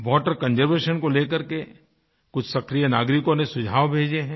Water conservation को लेकर के कुछ सक्रिय नागरिकों ने सुझाव भेजे हैं